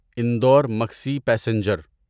Indore Maksi passenger